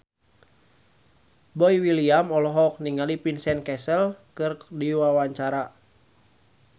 Boy William olohok ningali Vincent Cassel keur diwawancara